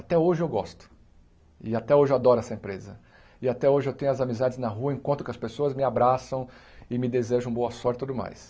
Até hoje eu gosto e até hoje eu adoro essa empresa e até hoje eu tenho as amizades na rua encontro com as pessoas me abraçam e me desejam boa sorte e tudo mais.